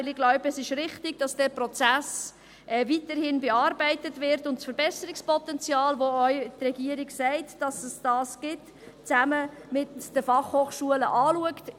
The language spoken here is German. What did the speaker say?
Denn ich glaube, es ist richtig, dass dieser Prozess weiterhin bearbeitet wird und die Regierung das Verbesserungspotenzial, von dem sie auch sagt, dass es das gibt, zusammen mit den Fachhochschulen anschaut.